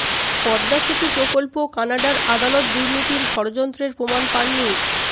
পদ্মা সেতু প্রকল্প কানাডার আদালত দুর্নীতির ষড়যন্ত্রের প্রমাণ পাননি